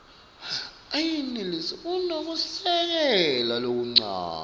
ayenelisi kunekusekela lokuncane